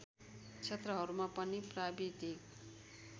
क्षेत्रहरूमा पनि प्राविधिक